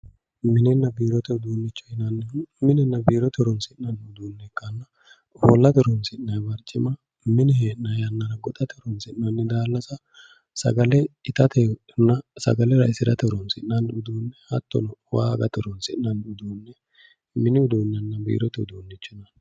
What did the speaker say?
mininna biirote uduunnicho yineemmohu minenna biirote horoonsi'nanni uduunne ikkanna biirote horoonsi'nanni barcima mine hee'nanni yannara gonxanni daallasa sagalete itatenna sagale raisirate horoonsi'nanni uduunne hattono waa agate horoonsi'nanni uduunne mini uduunnenna biirote uduunne yinanni